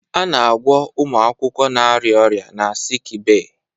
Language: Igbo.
A na-agwọ ụmụ akwụkwọ na-arịa ọrịa na sikibee